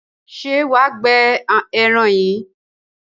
Ṣé wà á gbẹ ẹran yìí?